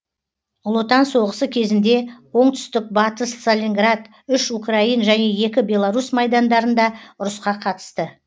ұлы отан соғысы кезінде оңтүстік батыс сталинград үш украин және екі белорус майдандарында ұрысқа қатысты